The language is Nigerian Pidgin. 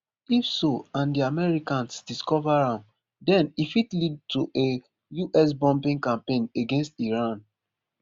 if so and di americans discover am den e fit lead to a us bombing campaign against iran